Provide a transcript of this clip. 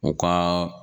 U ka